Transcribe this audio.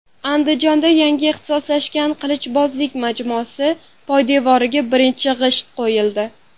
Andijonda yangi ixtisoslashgan qilichbozlik majmuasi poydevoriga birinchi g‘isht qo‘yildi.